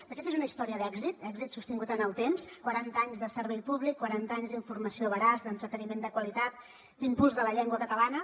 de fet és una història d’èxit èxit sostingut en el temps quaranta anys de servei públic quaranta anys d’informació veraç d’entreteniment de qualitat d’impuls de la llengua catalana